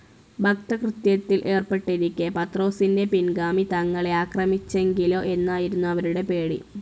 ഭക്തകൃത്യത്തിൽ ഏർപ്പെട്ടിരിക്കെ പത്രോസിന്റെ പിൻഗാമി തങ്ങളെ ആക്രമിച്ചെങ്കിലോ എന്നായിരുന്നു അവരുടെ പേടി.